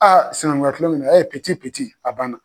Aa sinɛnkunya kunlonkɛn ɛ min peti peti